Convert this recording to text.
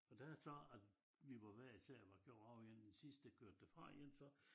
Og da så vi var hver især var kørt og den sidste kørte derfra igen så